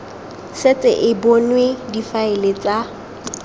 setse e bonwe difaele tsa